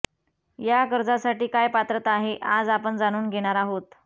या कर्जासाठी काय पात्रता आहे आज आपण जाणून घेणार आहोत